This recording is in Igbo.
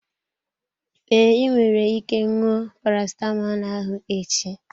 Ee, ị nwere ike ṅụọ parasitamọl ahụ echi.